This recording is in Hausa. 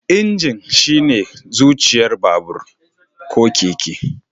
Injin shine zuciyar babur/keke